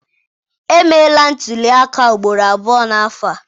Emeela ntụliaka ugboro abụọ n'afọ a.